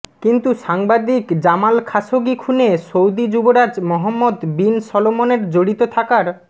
কিন্তু সাংবাদিক Jamal Khashoggi খুনে সৌদি যুবরাজ মহম্মদ বিন সলমনের জড়িত থাকার